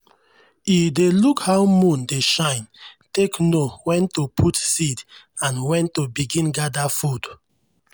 e dey look how moon dey shine take know when to put seed and when to begin gather food.